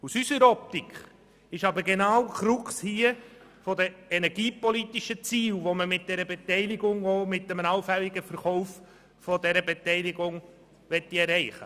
Aus unserer Optik liegt aber genau hier die Krux von energiepolitischen Zielen, die man mit dieser Beteiligung und einem allfälligen Verkauf der Beteiligung erreichen möchte.